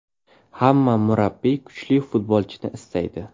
Hamma murabbiy kuchli futbolchini istaydi.